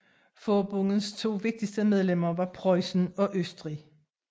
Forbundets to vigtigste medlemmer var Preussen og Østrig